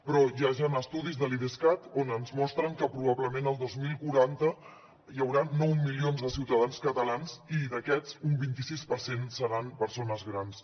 però ja hi han estudis de l’idescat que ens mostren que probablement el dos mil quaranta hi haurà nou milions de ciutadans catalans i d’aquests un vint i sis per cent seran persones grans